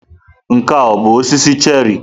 Nke a ọ bụ osisi cherị?